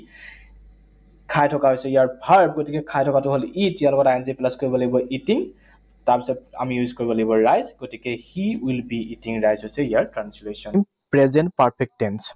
খাই থকা হৈছে ইয়াৰ verb, গতিকে খাই থকাটো হল eat, ইয়াৰ লগত I N G plus কৰিব লাগিব, eating তাৰপিছত আমি use কৰিব লাগিব rice, গতিকে he will be eating rice হৈছে ইয়াৰ translation. Present perfect tense